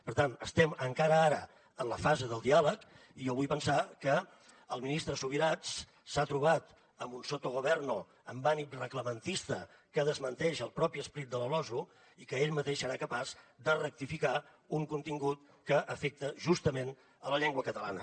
per tant estem encara ara en la fase del diàleg i jo vull pensar que el ministre subirats s’ha trobat amb un sottogoverno amb ànim reglamentista que desmenteix el propi esperit de la losu i que ell mateix serà capaç de rectificar un contingut que afecta justament la llengua catalana